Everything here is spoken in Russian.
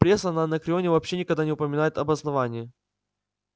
пресса на анакреоне вообще никогда не упоминает об основание